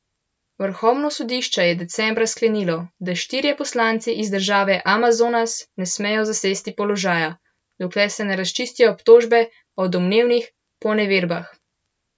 Vrhovno sodišče je decembra sklenilo, da štirje poslanci iz države Amazonas ne smejo zasesti položaja, dokler se ne razčistijo obtožbe o domnevnih poneverbah.